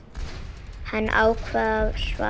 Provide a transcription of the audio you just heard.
Hann ákveður að svara ekki.